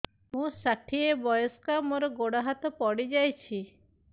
ମୁଁ ଷାଠିଏ ବୟସ୍କା ମୋର ଗୋଡ ହାତ ପଡିଯାଇଛି